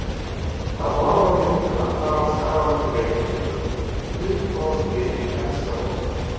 Að horfa á þyrluna fara af Skaganum til Reykjavíkur Uppáhalds lið í enska boltanum?